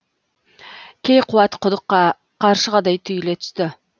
кейқуат құдыққа қаршығадай түйіле түсті